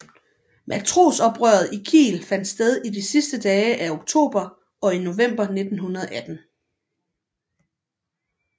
Matrosoprøret i Kiel fandt sted i de sidste dage af oktober og i november 1918